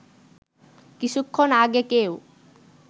কিছুক্ষণ আগে কেউ